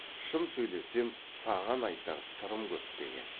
шын сөйлессем саған айтар сырым көп деген